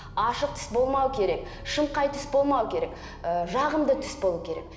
ашық түс болмау керек шымқай түс болмау керек і жағымды түс болу керек